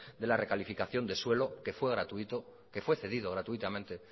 de la recalificación de suelo que fue cedido gratuitamente